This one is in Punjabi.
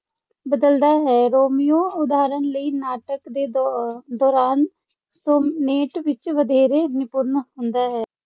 ਬਦਲਦਾ ਹੈ। ਰੋਮੀਓ, ਉਦਾਹਰਨ ਲਈ, ਨਾਟਕ ਦੇ ਦੋ ਅਹ ਦੌਰਾਨ ਸੋਨੇਟ ਵਿੱਚ ਵਧੇਰੇ ਨਿਪੁੰਨ ਹੁੰਦਾ ਹੈ।